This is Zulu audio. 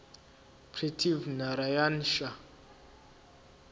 prithvi narayan shah